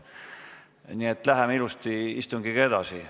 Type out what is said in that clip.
Nii et läheme ilusti istungiga edasi.